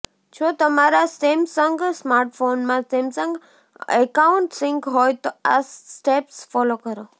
જો તમારા સેમસંગ સ્માર્ટફોનમાં સેમસંગ એકાઉન્ટ સિંક હોય તો આ સ્ટેપ્સ ફોલો કરો